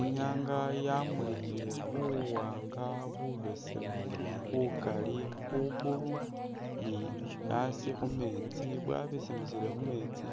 Inyanga yamulikhile buwaanga bubesemu bukali khugulu ni a'asi khumeetsi bwabesemesele khumeetsi